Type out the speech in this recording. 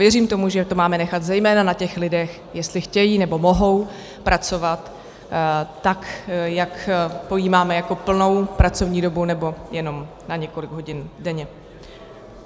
Věřím tomu, že to máme nechat zejména na těch lidech, jestli chtějí, nebo mohou pracovat tak, jak pojímáme jako plnou pracovní dobu, nebo jenom na několik hodin denně.